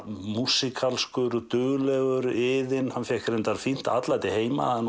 músíkalskur duglegur iðinn hann fékk fínt atlæti heima það